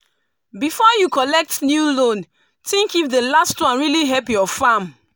before you collect new loan think if the last one really help your farm.